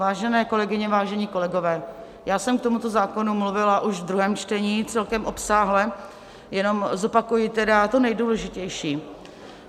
Vážené kolegyně, vážení kolegové, já jsem k tomuto zákonu mluvila už ve druhém čtení celkem obsáhle, jenom zopakuji tedy to nejdůležitější.